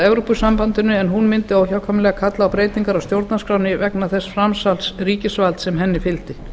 evrópusambandinu en hún mundi óhjákvæmilega kalla á breytingar á stjórnarskránni vegna þess framsals ríkisvalds sem henni fylgdi